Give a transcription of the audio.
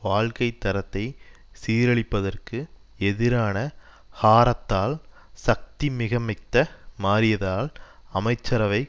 வாழ்க்கை தரத்தை சீரழிப்பதற்கு எதிரான ஹாரத்தால் சக்தி மிகமிக்த்த மாறியதால் அமைச்சரவை